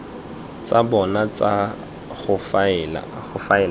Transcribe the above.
tsa bona tsa go faela